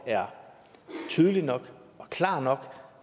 er tydelig nok og klar nok